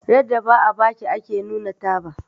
Yarda ba a baki ake nuna taba